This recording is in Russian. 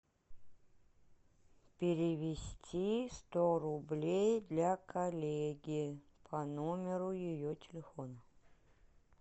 перевести сто рублей для коллеги по номеру ее телефона